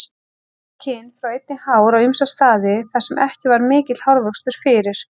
Bæði kyn fá einnig hár á ýmsa staði þar sem ekki var mikill hárvöxtur fyrir.